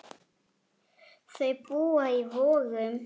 Þau búa í Vogum.